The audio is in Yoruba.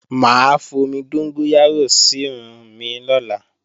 Mà á fomi dóngóyárò sírun mi lọ́la